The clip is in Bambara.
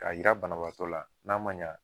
Ka jira banabaatɔ la n'a ma ɲa